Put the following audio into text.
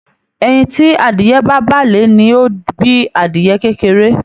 Ẹyin ti adìyẹ̀ ba bà lé ní o bí adìyẹ̀ kékeré.